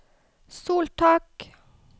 soltak